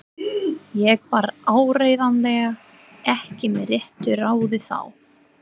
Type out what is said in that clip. Ég var áreiðanlega ekki með réttu ráði þá.